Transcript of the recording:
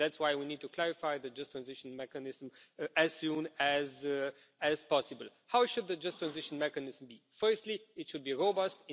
That's why we need to clarify the Just Transition Mechanism as soon as possible. How should the Just Transition Mechanism be? Firstly, it should be robust.